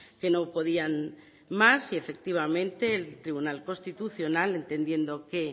que no podían más y efectivamente el tribunal constitucional entendiendo que